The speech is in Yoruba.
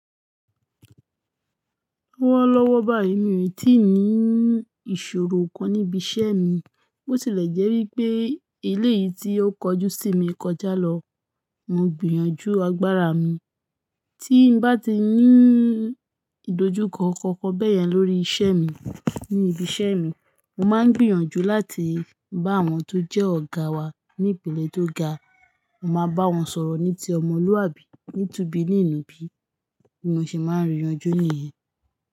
Lọ́wọ́lọ́wọ́ báyìí mí tí nì ìṣòro kan níbi iṣẹ́ mi. Bó ti lẹ̀ jẹ́ wípé eléyìí tí ó kọjú sí mi kọjá lọ. Mo gbìyànjú agbára mi. Tí n bá ti ní ìdojúkọ kankan bẹ́yẹn lórí iṣẹ́ mi ní ibi iṣẹ́ mi, mo máa ń gbìyànjú láti bá àwọn tó jẹ́ ọ̀gá wa ní ìpele tó ga. Mo máa bá wọn sọ̀rọ̀ ní ti ọmọlúàbí, ní tùbí ní nùbí. Mo se máa ń rìyànjú nìyẹn.